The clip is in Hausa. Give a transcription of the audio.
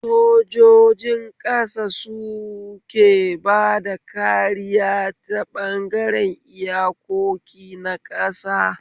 Sojojin ƙasa suke bada kariya ta ɓangaren iyakoki na ƙasa